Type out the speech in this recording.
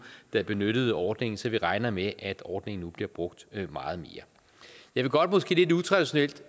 der benyttede ordningen så vi regner med at ordningen nu bliver brugt meget mere jeg vil godt måske lidt utraditionelt